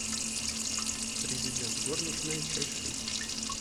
президент горничная часть шесть